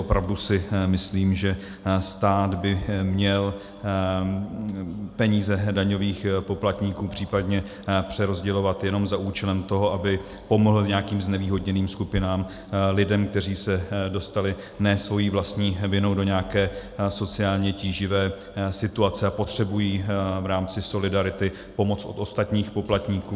Opravdu si myslím, že stát by měl peníze daňových poplatníků případně přerozdělovat jenom za účelem toho, aby pomohl nějakým znevýhodněným skupinám, lidem, kteří se dostali ne svou vlastní vinou do nějaké sociálně tíživé situace a potřebují v rámci solidarity pomoc od ostatních poplatníků.